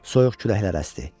Soyuq küləklər əsdi.